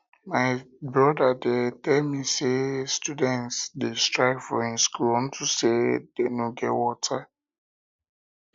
my broda tell me say students dey strike for im school unto say dey no get water